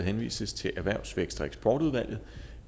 henvises til erhvervs vækst og eksportudvalget